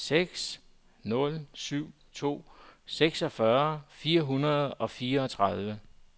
seks nul syv to seksogfyrre fire hundrede og fireogtredive